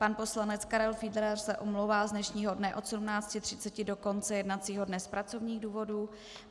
Pan poslanec Karel Fiedler se omlouvá z dnešního dne od 17.30 do konce jednacího dne z pracovních důvodů.